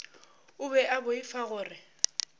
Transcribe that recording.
o be a boifa gore